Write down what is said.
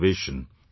We should do this